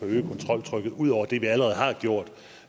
øge kontroltrykket ud over det vi allerede har gjort